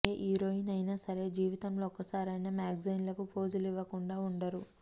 ఏ heroine అయినా సరే జీవితంలో ఒక్కసారైనా మ్యాగజైన్లకు పోజులివ్వకుండా ఉండరు